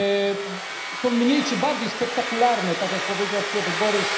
Grabieże są mniej czy bardziej spektakularne, tak jak powiedział Piotr Borys.